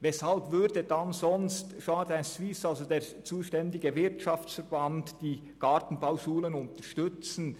Weshalb würde sonst der zuständige Wirtschaftsverband, Jardin Suisse, die Gartenbauschulen unterstützen?